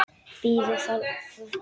Bíðiði, það hvarf.